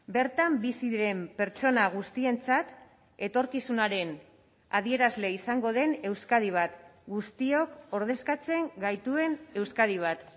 bertan bizi diren pertsona guztientzat etorkizunaren adierazle izango den euskadi bat guztiok ordezkatzen gaituen euskadi bat